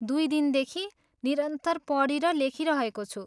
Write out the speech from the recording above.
दुइ दिनदेखि निरन्तर पढि र लेखिरहेको छु।